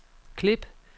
klip